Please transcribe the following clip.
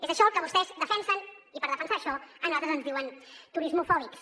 és això el que vostès defensen i per defensar això a nosaltres ens diuen turismofòbics